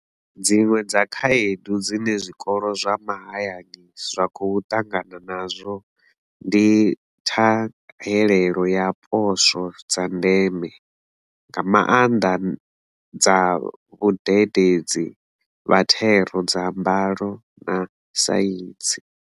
Dziṅwe dza khaedu dzine zwikolo zwa mahayani zwa khou ṱangana nazwo ndi ṱhahelelo ya poswo dza ndeme, nga maanḓa, dza vhadede dzi vha thero dza Mbalo na Saintsi.